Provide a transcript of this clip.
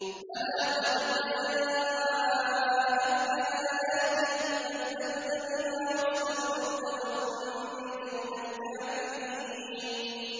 بَلَىٰ قَدْ جَاءَتْكَ آيَاتِي فَكَذَّبْتَ بِهَا وَاسْتَكْبَرْتَ وَكُنتَ مِنَ الْكَافِرِينَ